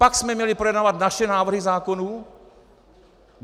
Pak jsme měli projednávat naše návrhy zákonů.